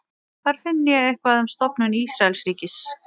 hvar finn ég eitthvað um stofnun ísraelsríkis